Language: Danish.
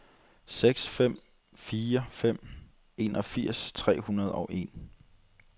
seks fem fire fem enogfirs tre hundrede og en